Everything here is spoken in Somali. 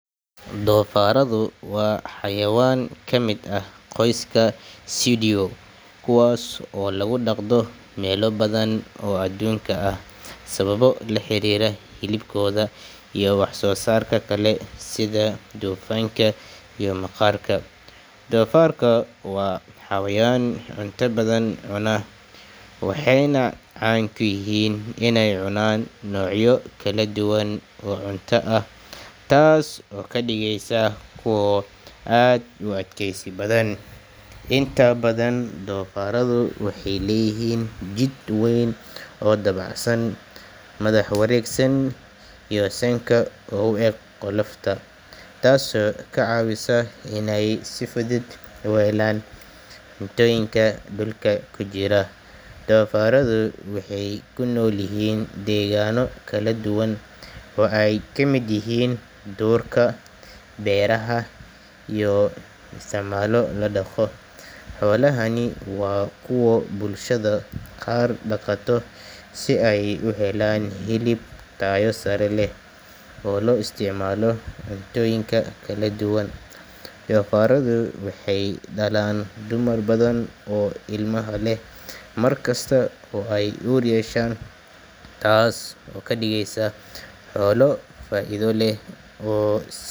Doofaaradu waa xayawaan ka mid ah qoyska Suidae kuwaas oo lagu dhaqdo meelo badan oo adduunka ah sababo la xiriira hilibkooda iyo wax soo saarka kale sida dufanka iyo maqaarka. Doofaarku waa xayawaan cunto badan cunaa, waxayna caan ku yihiin inay cunaan noocyo kala duwan oo cunto ah, taas oo ka dhigaysa kuwo aad u adkaysi badan. Inta badan doofaaradu waxay leeyihiin jidh weyn oo dabacsan, madax wareegsan iyo sanka oo u eg qolofta, taasoo ka caawisa inay si fudud u helaan cuntooyinka dhulka ku jira. Doofaaradu waxay ku noolyihiin deegaano kala duwan oo ay ka mid yihiin duurka, beeraha iyo meelaha la dhaqo. Xoolahani waa kuwo bulshada qaar dhaqato si ay u helaan hilib tayo sare leh oo loo isticmaalo cuntooyinka kala duwan. Doofaaradu waxay dhalaan dumar badan oo ilmaha leh mar kasta oo ay uur yeeshaan, taas oo ka dhigaysa xoolo faa’iido leh oo.